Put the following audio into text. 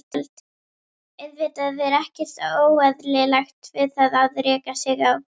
Auðvitað er ekkert óeðlilegt við það að reka sig á.